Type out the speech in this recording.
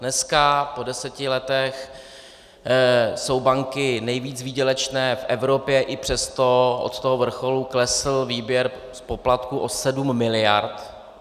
Dneska po deseti letech jsou banky nejvíc výdělečné v Evropě, i přesto od toho vrcholu klesl výběr z poplatků o sedm miliard.